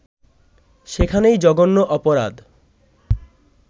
সেখানেই জঘন্য অপরাধ